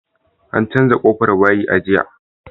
An canza ƙofar bayi a jiya